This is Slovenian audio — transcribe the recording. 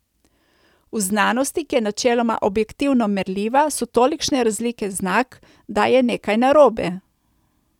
V znanosti, ki je načeloma objektivno merljiva, so tolikšne razlike znak, da je nekaj narobe.